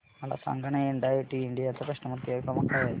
मला सांगाना NIIT India चा कस्टमर केअर क्रमांक काय आहे